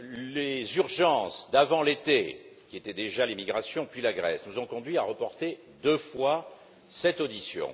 Les urgences d'avant l'été qui étaient déjà l'immigration, puis la Grèce nous ont conduits à reporter deux fois cette audition.